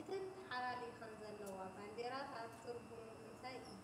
እተን ተሓላሊከን ዘለዋ ባንዴራታት ትርጉሙ እንታይ እዩ?